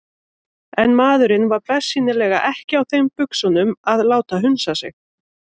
En maðurinn var bersýnilega ekki á þeim buxunum að láta hunsa sig.